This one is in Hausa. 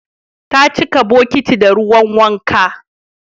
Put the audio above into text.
Ta cika bokitin da ruwan wanka